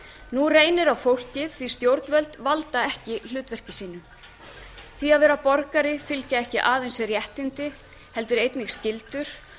nú reynir á fólkið því að stjórnvöld valda ekki hlutverki sínu því að vera borgari fylgja ekki aðeins réttindi heldur einnig skyldur og